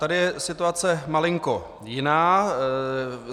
Tady je situace malinko jiná.